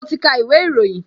Mo ti ka ìwé ìròyìn